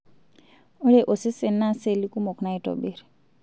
Ore osesen naa seli kumok naitobirr.